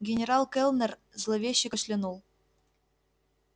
генерал кэллнер зловеще кашлянул